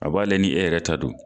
A b'ale ni e yɛrɛ ta don.